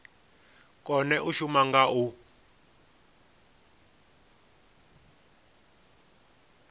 kone u shuma nga u